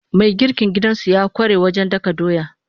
Mai girkin gidansu ya ƙware wajen dakan doya.